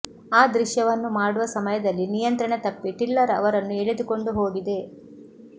ಆ ದೃಶ್ಯವನ್ನು ಮಾಡುವ ಸಮಯದಲ್ಲಿ ನಿಯಂತ್ರಣ ತಪ್ಪಿ ಟಿಲ್ಲರ್ ಅವರನ್ನು ಎಳೆದುಕೊಂಡು ಹೋಗಿದೆ